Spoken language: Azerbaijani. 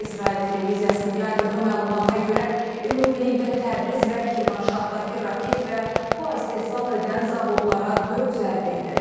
İsrail televiziyasının yaydığı məlumata görə ümumilikdə Təbriz və Kirmanşahdakı raket və poe istehsal edən zavodlara dörd zərbə endirilib.